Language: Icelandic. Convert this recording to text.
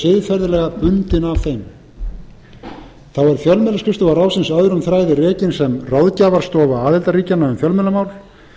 siðferðilega bundin af þeim þá er fjölmiðlaskrifstofa ráðsins öðrum þræði rekin sem ráðgjafarstofa aðildarríkjanna um fjölmiðlamál